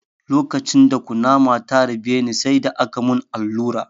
Lokacin da kunama ta harbe ni, sai da aka mun allura.